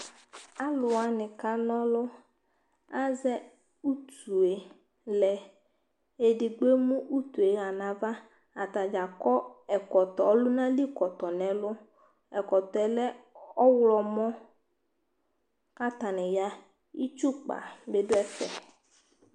alowani ka n'ɔlu azɛ utue lɛ edigbo emu utue ya n'ava atadza akɔ ɛkɔtɔ ɔlòna li kɔtɔ n'ɛlu ɛkɔtɔɛ lɛ ɔwlɔmɔ k'atani ya itsu kpa bi do ɛfɛ